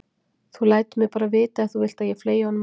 Þú lætur mig bara vita ef þú vilt að ég fleygi honum út.